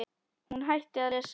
Hún hætti að lesa.